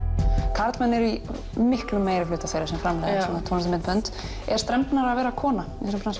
karlmenn eru í miklum meirihluta þeirra sem framleiða svona tónlistarmyndbönd er strembnara að vera kona í svona bransa